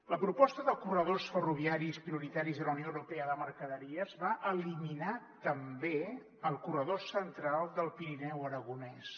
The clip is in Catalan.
la proposta de corredors ferroviaris prioritaris de la unió europea de mercaderies va eliminar també el corredor central del pirineu aragonès